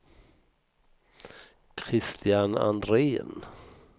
Christian Andrén